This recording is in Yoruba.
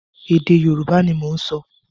Èdè Yorùbá ni mò ń sọ.